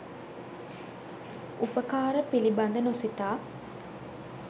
උපකාර පිළිබඳ නොසිතා